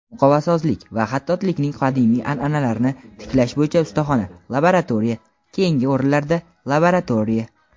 muqovasozlik va xattotlikning qadimiy an’analarini tiklash bo‘yicha ustaxona- laboratoriya (keyingi o‘rinlarda - Laboratoriya).